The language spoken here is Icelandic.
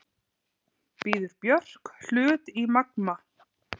Býður Björk hlut í Magma